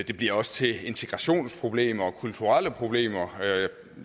det bliver også til integrationsproblemer og kulturelle problemer